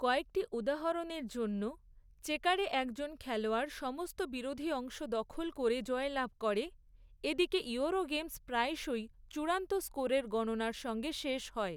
কয়েকটি উদাহরণের জন্য, চেকারে একজন খেলোয়াড় সমস্ত বিরোধী অংশ দখল করে জয়লাভ করে এদিকে ইউরোগেমস প্রায়শই চূড়ান্ত স্কোরের গণনার সঙ্গে শেষ হয়।